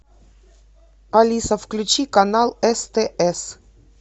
алиса включи канал стс